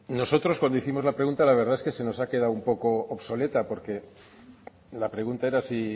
nosotros cuando hicimos la pregunta la verdad que se nos ha quedado un poco obsoleta porque la pregunta era si